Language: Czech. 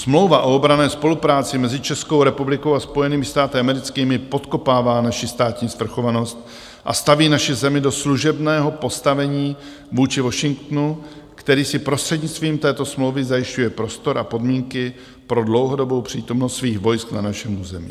Smlouva o obranné spolupráci mezi Českou republikou a Spojenými státy americkými podkopává naši státní sprchovanost a staví naši zemi do služebného postavení vůči Washingtonu, který si prostřednictvím této smlouvy zajišťuje prostor a podmínky pro dlouhodobou přítomnost svých vojsk na našem území.